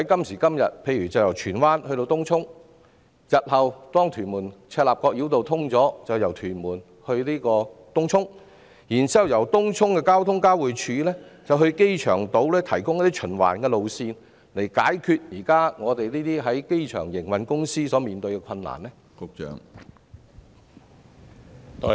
以今天由荃灣前往東涌或日後當屯門至赤鱲角連接路通車後由屯門前往東涌為例，政府可考慮提供由東涌的公共運輸交匯處前往機場島的循環路線，以解決現時機場營運公司所面對的困難。